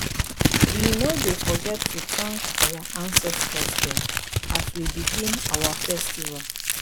we no dey forget to tank our ancestor dem as we dey begin our festival.